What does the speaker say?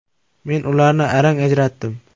Men ularni arang ajratdim.